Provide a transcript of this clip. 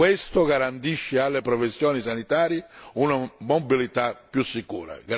Questo garantisce alle professioni sanitarie una mobilità più sicura.